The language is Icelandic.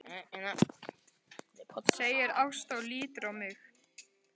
segir Ásta og lítur á mig.